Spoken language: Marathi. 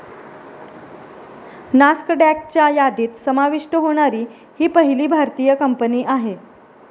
नास्कडॅकच्या यादीत समाविष्ट होणारी ही पहिली भारतीय कंपनी आहे.